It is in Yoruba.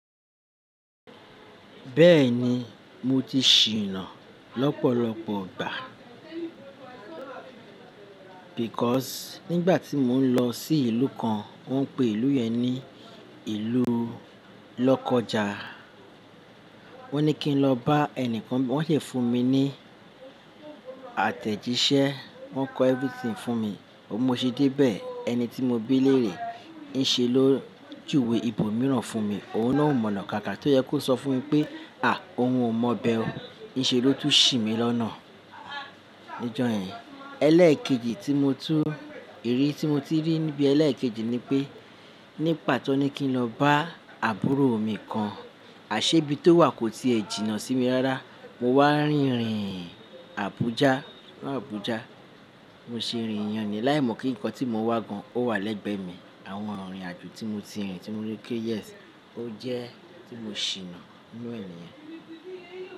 Bẹ́ẹ̀ni, mo ti ṣìnà lọ́pọ̀lọpọ̀ ìgbà because nígbà tí mò ń lọ sí ìlú kan, wọ́n ń pe ìlú yẹn ní ìlú lọ́kọja. Wọ́n ní kí n lọ bá ẹnìkan, wọ́n sì fún mi ní àtẹ̀jíṣẹ́, wọ́n kọ everything fún mi. Mo ṣe dé bẹ̀, ẹni tí mo ti bí lèrè ń ṣe ló júwe ibòmíràn fún mi, òun náà ò mọ̀ ọ̀nà kankan tó yẹ kó sọ fún mi pé à, òun ò mọ̀ bẹ ó, ń ṣe ló tú ṣì mí lọ́nà. Nijọ́ yẹn, ẹlẹ́ẹ̀kejì tí mo tú, irí tí mo tú rí níbi ẹlẹ́ẹ̀kejì ni pé ní pàtó ní kí n lọ bá àbúrò mi kan, àṣebí tó wà kò ti è jìnnà sí mi rárá. Mo wá rìnrìn Abuja, lọ Abuja. Mo ṣe rìnrìn láì mọ̀ kí nǹkan tí mo wá gan ò wà lẹ́gbẹ̀ẹ́ mi. Àwọn ìrìn àjò tí mo ti rìn tí mo rí pé yes, ó jẹ́ tí mo ṣìnà náà niyẹn.